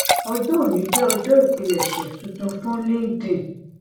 ọjọ òní jẹ ọjọ ìpilẹṣẹ tuntun fún linkedin